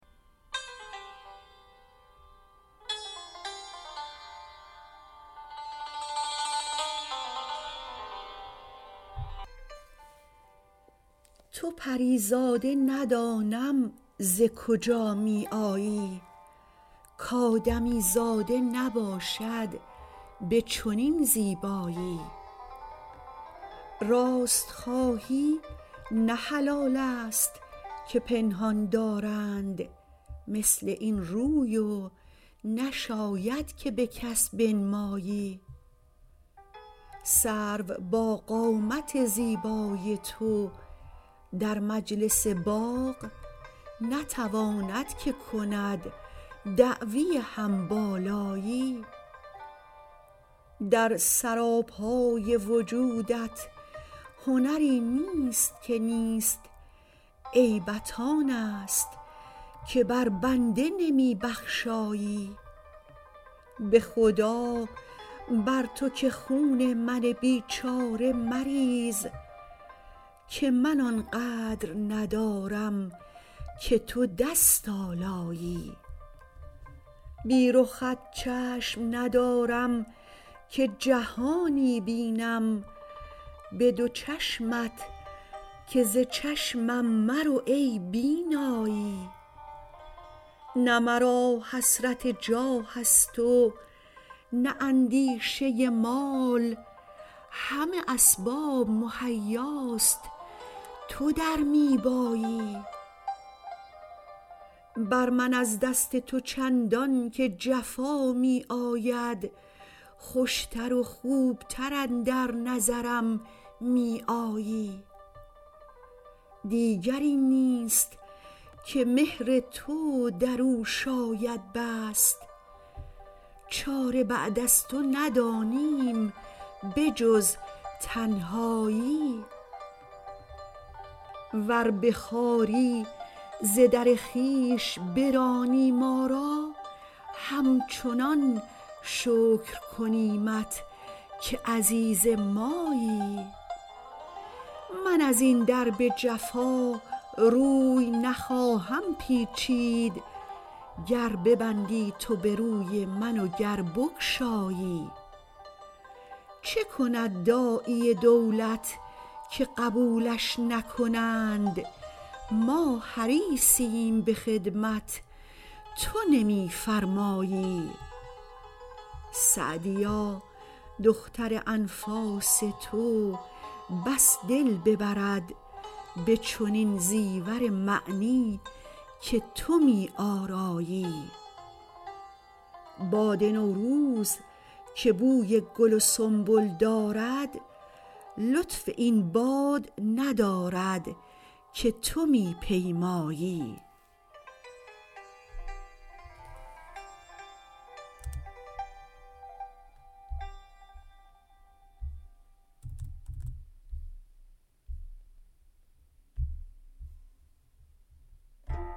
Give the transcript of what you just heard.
تو پری زاده ندانم ز کجا می آیی کآدمیزاده نباشد به چنین زیبایی راست خواهی نه حلال است که پنهان دارند مثل این روی و نشاید که به کس بنمایی سرو با قامت زیبای تو در مجلس باغ نتواند که کند دعوی هم بالایی در سراپای وجودت هنری نیست که نیست عیبت آن است که بر بنده نمی بخشایی به خدا بر تو که خون من بیچاره مریز که من آن قدر ندارم که تو دست آلایی بی رخت چشم ندارم که جهانی بینم به دو چشمت که ز چشمم مرو ای بینایی نه مرا حسرت جاه است و نه اندیشه مال همه اسباب مهیاست تو در می بایی بر من از دست تو چندان که جفا می آید خوش تر و خوب تر اندر نظرم می آیی دیگری نیست که مهر تو در او شاید بست چاره بعد از تو ندانیم به جز تنهایی ور به خواری ز در خویش برانی ما را همچنان شکر کنیمت که عزیز مایی من از این در به جفا روی نخواهم پیچید گر ببندی تو به روی من و گر بگشایی چه کند داعی دولت که قبولش نکنند ما حریصیم به خدمت تو نمی فرمایی سعدیا دختر انفاس تو بس دل ببرد به چنین زیور معنی که تو می آرایی باد نوروز که بوی گل و سنبل دارد لطف این باد ندارد که تو می پیمایی